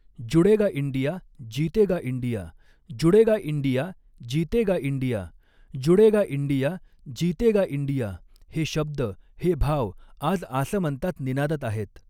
जुड़ेगा इंडिया, जीतेगा इंडिया, जुड़ेगा इंडिया, जीतेगा इंडिया, जुड़ेगा इंडिया, जीतेगा इंडिया, हे शब्द, हे भाव आज आसमंतात निनादत आहेत.